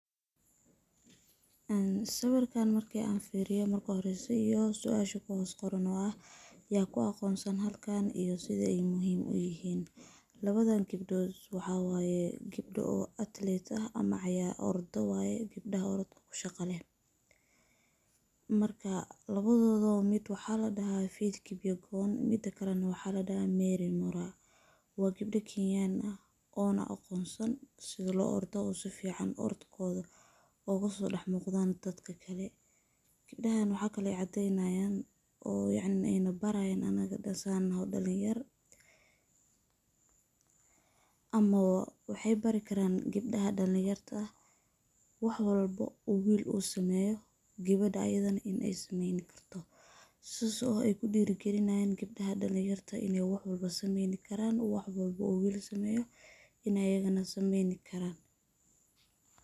Een sawirkan marki an firiyo marka horeyso iyo suasha ku hos qoran oo ah, yakuaqonsan halkan iyo sida ay muhim uyihin. Lawadan gebdod waxaa waye gebda oo athlete ah ama ordaa waye, gebdada orodka kushaqa leh. Marka lawadodaba mid waxaa ladahaa Faith Kipyukum mida kale na waxaa ladaha Merry Mura. Wa gebda kenyan ah oo na aqonsan sidha lo ordo oo sifican orodkodha ogasodax muqdan dadka kale. Gebdahan waxay kale oy cadeyayan oo yacni nabarayin anaga dhan sa unaho dalinyar, ama wa waxay barikaran gebdaha dalinyarta ah wax walba uu wil uu sameyo gebedha ayadhana in ay sameyn karto, sas oo ay kudiragalinayan gebdaha dhalinyarta in ay wax walbo sameyni karaan wax walba uu wil sameyo in ay ayagana sameyni karan.